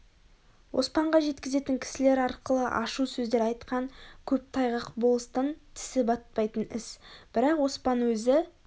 оспанға жеткізетін кісілер арқылы ашу сөздер айтқан көп тайғақ болыстың тісі батпайтын іс бірақ оспан өзі